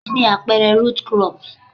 Kí ni àpẹẹrẹ root crop?